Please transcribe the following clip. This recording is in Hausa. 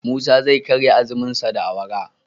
Musa zai karya azumun shi da awara